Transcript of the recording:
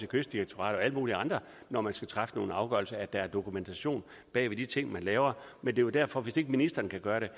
kystdirektoratet og alle mulige andre når man skal træffe nogle afgørelser at der er dokumentation bag de ting man laver det er jo derfor at hvis ikke ministeren kan gøre det